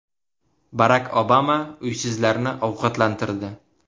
Barak Obama uysizlarni ovqatlantirdi .